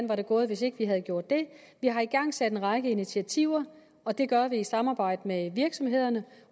var gået hvis ikke vi havde gjort det vi har igangsat en række initiativer og det gør vi i samarbejde med virksomhederne